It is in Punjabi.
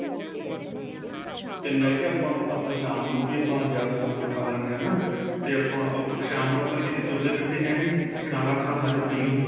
ਤੇ ਮੈਂ ਕਿਹਾ ਆਪਾਂ ਨੂੰ ਆਪਾਂ ਸ਼ਾਮ ਨੂੰ ਵੀ ਆਪਾਂ ਜਿਆਦਾ ਖਾਣਾ ਖਾ ਲਿਣੇ ਹਾਂ ਹੈਨਾ ਤੇ ਆਪਾਂ ਸ਼ਾਮ ਨੂੰ ਆਪਾਂ ਕਿੱਤੇ ਤੁਰਦੇ ਫਿਰਦੇ ਹੈ ਨਹੀਂ ਤੇ ਖਾਣਾ ਆਪਣਾ ਹਜ਼ਮ ਨਹੀਂ ਹੁੰਦਾ